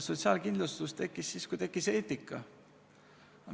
Sotsiaalkindlustus tekkis siis, kui tekkis eetika.